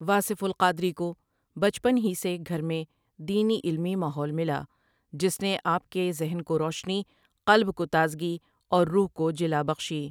واصف القادری کو بچپن سے ہی گھر میں دینی علمی ماحول ملا جس نے آپ کی ذہن کو روشنی، قلب کو تازگی اور روح کوجلا بخشی۔